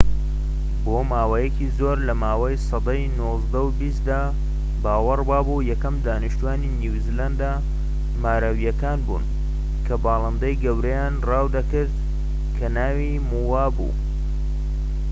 بۆماوەیەکی زۆر لەماوەی سەدەی نۆزدە و بیستدا باوەڕ وابوو یەکەم دانیشتوانی نیوزیلەندە ماوریەکان بن کە باڵندەی گەورەیان ڕاو دەکرد کە ناوی مۆوا بوو